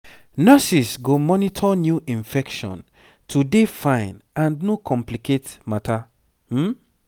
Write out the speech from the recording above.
nurses go monitor new infection to dey fine and no complicate matter um